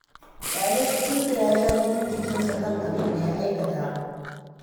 Ƙyale shi tun da dai ya sha jinin jikinsa kan abin da ya aikata.